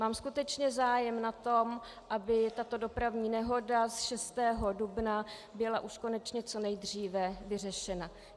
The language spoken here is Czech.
Mám skutečně zájem na tom, aby tato dopravní nehoda z 6. dubna byla už konečně co nejdříve vyřešena.